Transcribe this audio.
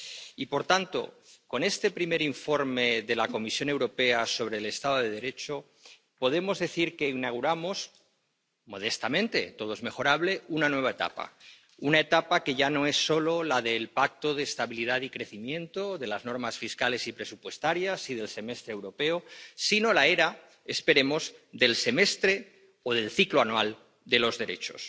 Y, por tanto, con este primer informe de la Comisión Europea sobre el Estado de Derecho, podemos decir que inauguramos —modestamente, todo es mejorable— una nueva etapa una etapa que ya no es solo la del Pacto de Estabilidad y Crecimiento, la de las normas fiscales y presupuestarias y la del Semestre Europeo, sino la era —esperemos— del semestre o del ciclo anual de los derechos.